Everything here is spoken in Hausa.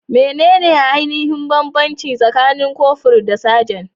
Menene ainihin bambanci tsakanin kofur da sajan?